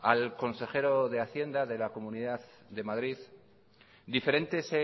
al consejero de hacienda de la comunidad de madrid diferentes